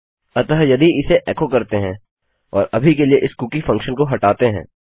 अतः यदि इसे एको करते हैं और अभी के लिए इस कुकी फंक्शन को हटाते हैं